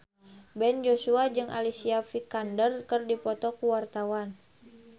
Ben Joshua jeung Alicia Vikander keur dipoto ku wartawan